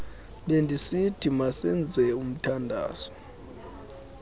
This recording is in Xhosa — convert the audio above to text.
bendisithi masenzeni umthandazo